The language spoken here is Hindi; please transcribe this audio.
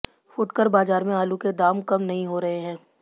फुटकर बाजार में आलू के दाम कम नहीं हो रहे हैं